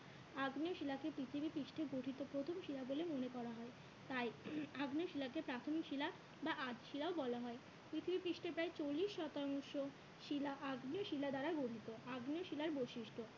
তাই আগ্নেয় শিলাকে প্রাথমিক শিলা বা আধ শিলাও বলা হয়। পৃথিবী পৃষ্ঠে প্রায় চল্লিশ শতাংশ শিলা আগ্নেয় শিলা দ্বারা গঠিত আগ্নেয় শিলার বৈশিষ্ট্য